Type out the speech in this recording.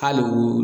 Hali u